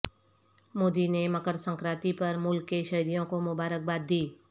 مودی نے مکر سنکرانتی پرملک کے شہریوں کو مبارکباد دی